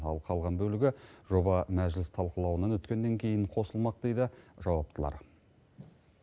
ал қалған бөлігі жоба мәжіліс талқылауынан өткеннен кейін қосылмақ дейді жауаптылар